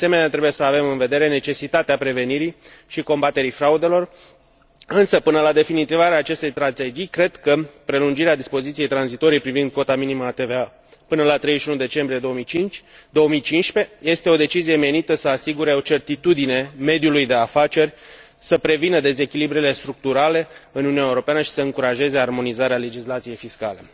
De asemenea, trebuie să avem în vedere necesitatea prevenirii și combaterii fraudelor, însă, până la definitivarea acestei strategii, cred că prelungirea dispoziției tranzitorii privind cota minimă a TVA până la 31 decembrie 2015 este o decizie menită să asigure certitudine mediului de afaceri, să prevină dezechilibrele structurale în Uniunea Europeană și să încurajeze armonizarea legislației fiscale.